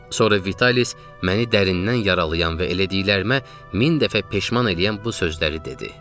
Sonra Vitalis məni dərindən yaralayan və elədiklərimə min dəfə peşman eləyən bu sözləri dedi.